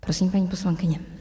Prosím, paní poslankyně.